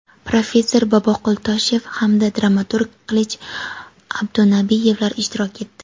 professor Boboqul Toshev hamda dramaturg Qilich Abdunabiyevlar ishtirok etdi.